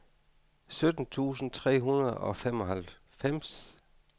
sytten tusind tre hundrede og femoghalvfems